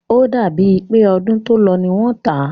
O dàbí è pé ọdún tó lọ ní wọ́n tá.